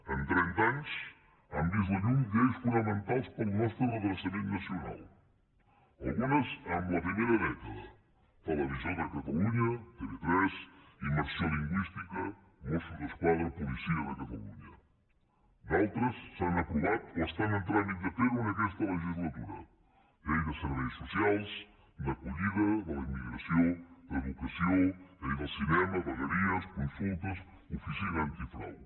en trenta anys han vist la llum lleis fonamentals per al nostre redreçament nacional algunes en la primera dècada televisió de catalunya tv3 immersió lingüística mossos d’esquadra policia de catalunya d’altres s’han aprovat o estan en tràmit de fer ho en aquesta legislatura llei de serveis socials d’acollida de la immigració d’educació llei del cinema vegueries consultes oficina antifrau